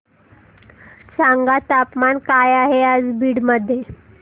सांगा तापमान काय आहे आज बीड मध्ये